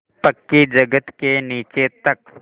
पक्की जगत के नीचे तक